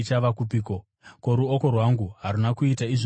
Ko, ruoko rwangu haruna kuita izvozvi zvose here?’